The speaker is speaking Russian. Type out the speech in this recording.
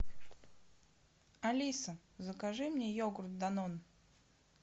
алиса закажи мне йогурт данон